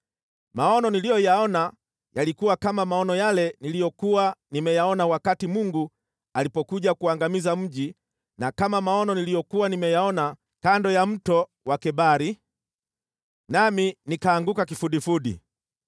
Maono niliyoyaona yalikuwa kama maono yale niliyokuwa nimeyaona wakati Mungu alipokuja kuangamiza mji na kama maono niliyokuwa nimeyaona kando ya Mto wa Kebari, nami nikaanguka kifudifudi.